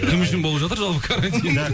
кім үшін болып жатыр жалпы карантин